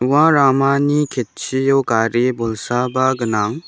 ua ramani ketchio gari bolsaba gnang.